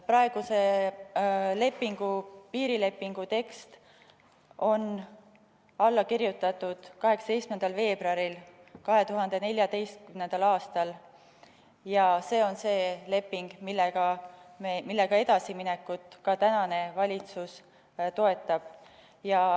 Praeguse piirilepingu tekst on alla kirjutatud 18. veebruaril 2014. aastal ja see on see leping, millega edasiminekut ka praegune valitsus toetab.